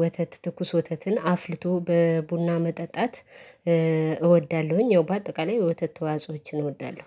ወተት ትኩስ ወተትን አፍልቶ በቡና መጠጣት። ያው በአጠቃላይ የወተት ተዋጾኦችን እወዳለሁ።